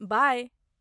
बाय।